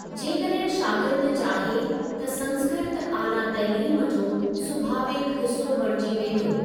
जेकॾहिं शागिर्दु चाहे त संस्कृत आला तइलीम जो सुभावीक हिसो बणिजी वेंदो।